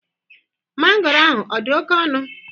Mangoro ahụ ọ dị oke ọnụ?